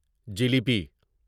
jalebi jalebi